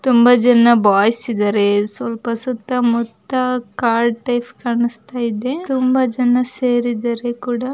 ತುಂಬಾ ಜನ ಬಾಯ್ಸ್ ಇದ್ದಾರೆ ಸ್ವಲ್ಪ ಸುತ್ತ ಮುತ್ತ ಕಾಡ್ ಟೈಪ್ ಕಾಣುಸ್ತೈದೆ ತುಂಬಾ ಜನ ಸೇರಿದರೆ ಕೂಡ.